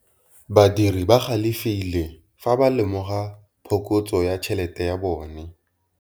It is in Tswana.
Badiri ba galefile fa ba lemoga phokotsô ya tšhelête ya bone.